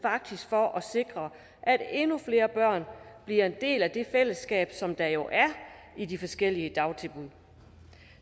for at sikre at endnu flere børn bliver en del af det fællesskab som der jo er i de forskellige dagtilbud